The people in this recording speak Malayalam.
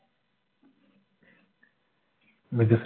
വികസ